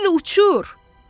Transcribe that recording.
Bil uçur!